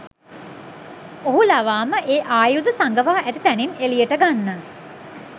ඔහු ලවාම ඒ ආයුධ සඟවා ඇති තැනින් එලියට ගන්න